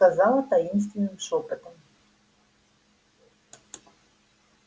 сказала таинственным шёпотом